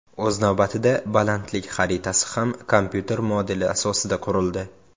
O‘z navbatida, balandlik xaritasi ham kompyuter modeli asosida qurildi.